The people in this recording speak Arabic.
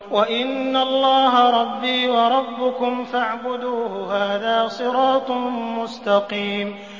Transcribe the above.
وَإِنَّ اللَّهَ رَبِّي وَرَبُّكُمْ فَاعْبُدُوهُ ۚ هَٰذَا صِرَاطٌ مُّسْتَقِيمٌ